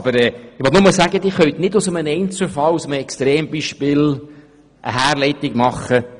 Ich will damit nur sagen, dass Sie nicht vom Einzelfall eine Änderung des Steuergesetzes herleiten können.